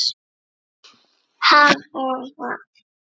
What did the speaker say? Hann: Ha ha ha.